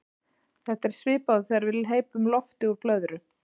Þetta er svipað og þegar við hleypum lofti úr blöðru.